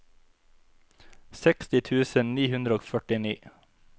seksti tusen ni hundre og førtini